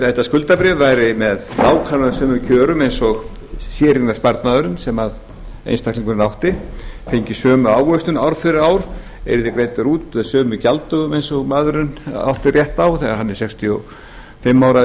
þetta skuldabréf væri með nákvæmlega sömu kjörum eins og séreignarsparnaðurinn sem einstaklingurinn átti fengi sömu áherslu ár eftir ár yrði greiddur út með sömu gjalddögum eins og maðurinn átti rétt á þegar hann er sextíu og fimm ára